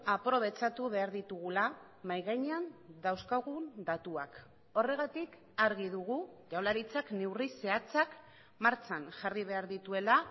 aprobetxatu behar ditugula mahai gainean dauzkagun datuak horregatik argi dugu jaurlaritzak neurri zehatzak martxan jarri behar dituela